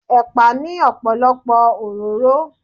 Ẹ̀pà ní ọ̀pọ̀lọpọ̀ òróró.